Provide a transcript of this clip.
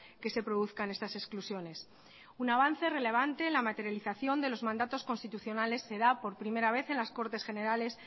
que se produzcan estas exclusiones un avance relevante la materialización de los mandatos constitucionales se da por primera vez en las cortes generales